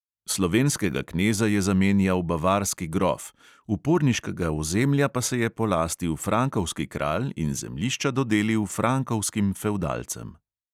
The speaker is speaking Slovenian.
Slovenskega kneza je zamenjal bavarski grof, uporniškega ozemlja pa se je polastil frankovski kralj in zemljišča dodelil frankovskim fevdalcem.